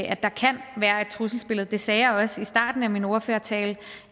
at der kan være et trusselsbillede jeg sagde også i starten af min ordførertale